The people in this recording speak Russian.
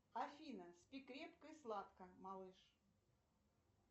афина спи крепко и сладко малыш